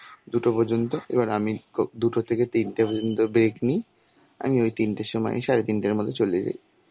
দুটো পর্যন্ত. এবার আমি ক~ দুটো থেকে তিনটে পর্যন্ত break নি. আমি ওই তিনটের সময় সাড়ে তিনটের মধ্যে চলে যাই.